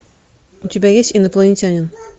у тебя есть инопланетянин